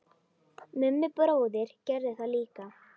Mummi bróðir gerði það líka.